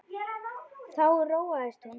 Þá róaðist hún.